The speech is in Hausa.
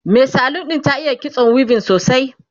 Mai salon ɗin ta iya kitso weaving sosai